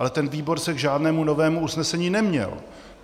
Ale ten výbor se k žádnému novému usnesení neměl.